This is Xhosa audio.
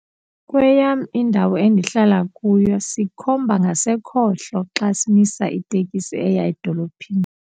Kweyam indawo endihlala kuyo sikhomba ngasekhohlo xa simisa itekisi eya edolophini.